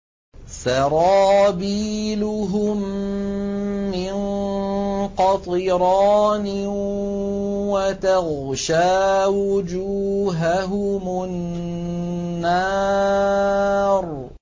سَرَابِيلُهُم مِّن قَطِرَانٍ وَتَغْشَىٰ وُجُوهَهُمُ النَّارُ